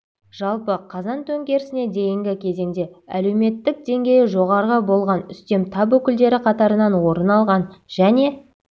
жалпы қазан төңкерісіне дейінгі кезеңде әлеуметтік деңгейі жоғары болған үстем тап өкілдері қатарынан орын алған және